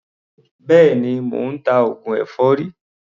Béèni, mò ń ta oògùn èfọ́rí.